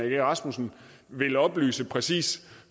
egge rasmussen vil oplyse præcis